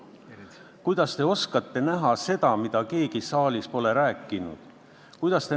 Kuidas te oskate kuulda seda, mida keegi saalis pole rääkinud?